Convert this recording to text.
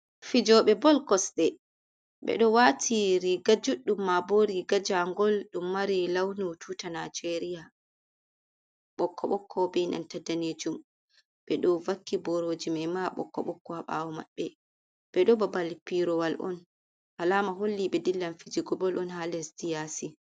Fijobe bol kosɗe. Ɓe ɗo wati riga juɗɗum ma bo riga jangol ɗum mari launu tuta najeriya ɓokko-ɓokko, be nanta danejum, ɓe ɗo vakki boroji mai ma bo ɓokko-ɓokko ha ɓawo maɓɓe. Ɓe ɗo babal pirawal on. Alama holli ɓe dillan fijigo bol on ha leddi yasi.